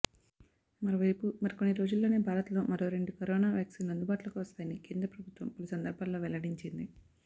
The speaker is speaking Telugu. మరోవైపు మరికొన్ని రోజుల్లోనే భారత్లో మరో రెండు కరోనా వ్యాక్సిన్లు అందుబాటులోకి వస్తాయని కేంద్ర ప్రభుత్వం పలు సందర్భాల్లో వెల్లడించింది